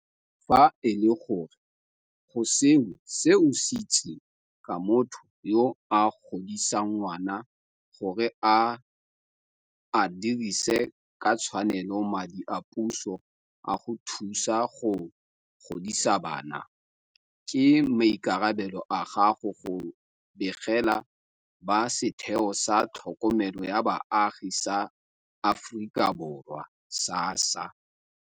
Fa e le gore go sengwe se o se itseng ka motho yo a godisang ngwana gore ga a dirise ka tshwanelo madi a puso a go thusa go godisa bana, ke maikarabelo a gago go begela ba Setheo sa Tlhokomelo ya Baagi sa Aforika Borwa, SASSA.